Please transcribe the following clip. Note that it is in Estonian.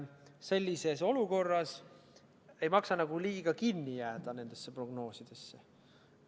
Sellises olukorras ei maksa liiga kinni jääda nendesse prognoosidesse.